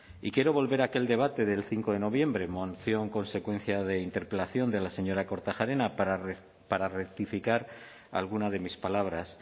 y quiero volver a aquel debate del cinco de noviembre moción consecuencia de interpelación de la señora kortajarena para rectificar alguna de mis palabras